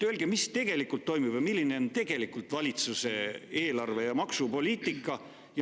Öelge, mis tegelikult toimub ja milline on tegelikult valitsuse eelarve- ja maksupoliitika.